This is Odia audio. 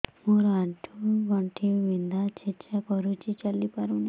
ମୋର ଆଣ୍ଠୁ ଗଣ୍ଠି ବିନ୍ଧା ଛେଚା କରୁଛି ଚାଲି ପାରୁନି